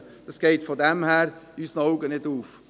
In unseren Augen geht es daher nicht auf.